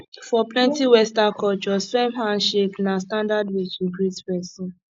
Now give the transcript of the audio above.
for plenty western cultures firm handshake na standard way to greet pesin